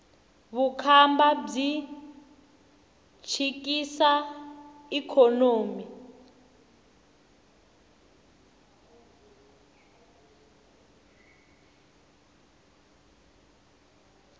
vukhamba byi chikisa ikhonomi